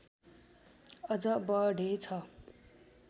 अझ बढेछ